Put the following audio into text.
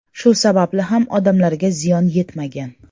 Shu sababli ham odamlarga ziyon yetmagan.